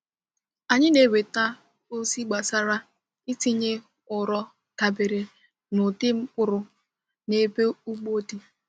Anyị na-enweta ozi gbasara itinye ụrọ dabere na ụdị mkpụrụ na ebe ugbo dị.